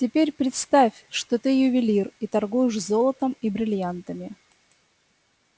теперь представь что ты ювелир и торгуешь золотом и брильянтами